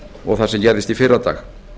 og það sem gerðist í fyrradag